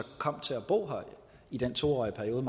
kom til at bo her i den to årige periode